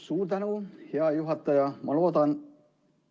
Suur tänu, hea juhataja!